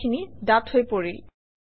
কথাখিনি ডাঠ হৈ পৰিল